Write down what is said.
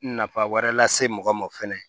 Nafa wɛrɛ lase mɔgɔ ma fɛnɛ